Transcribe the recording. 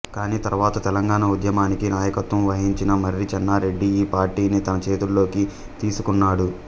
కానీ తరువాత తెలంగాణ ఉద్యమానికి నాయకత్వం వహించిన మర్రి చెన్నారెడ్డి ఈ పార్టీని తన చేతుల్లోకి తీసుకున్నాడు